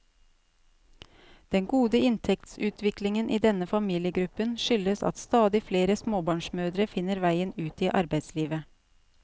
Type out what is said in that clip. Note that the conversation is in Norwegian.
Den gode inntektsutviklingen i denne familiegruppen skyldes at stadig flere småbarnsmødre finner veien ut i arbeidslivet.